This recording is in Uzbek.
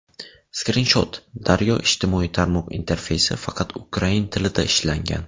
Skrinshot: Daryo Ijtimoiy tarmoq interfeysi faqat ukrain tilida ishlangan.